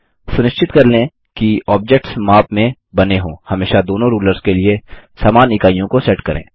सुनिश्चित कर लें कि ऑब्जेक्ट्स माप में बने हों हमेशा दोनों रूलर्स के लिए समान इकाइयों को सेट करें